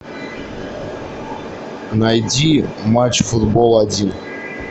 найди матч футбол один